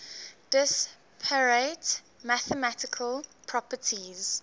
disparate mathematical properties